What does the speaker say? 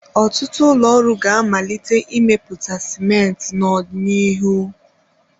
Ọtụtụ ụlọ ọrụ ga-amalite imepụta sịmentị nt n'ọdịnihu.